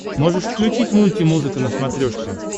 можешь включить мультимузыка на смотрешке